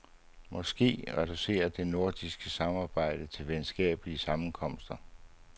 Måske reduceres det nordiske samarbejde til venskabelige sammenkomster.